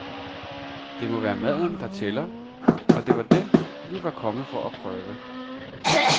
Det må være maden, der tæller, og det var den, vi var kommet for at prøve.